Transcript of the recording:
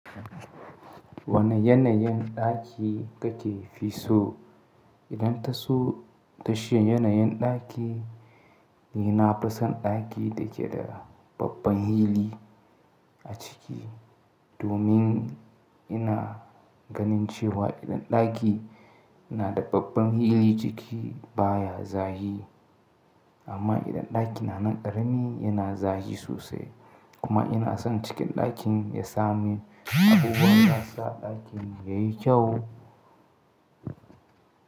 Wane yanayin ɗaki kake fi so? Idan taso tashi yanayin ɗaki, ni nafi son ɗaki da ke da babban hili a ciki. Domin ina ganin cewa idan ɗaki yana da babban hili ciki baya zafi. Amma idan ɗaki na nan ƙarami yana zafi sosai. Kuma ina son cikin ɗakin ya sami abubuwan da za su sa ɗakin yayi kyau.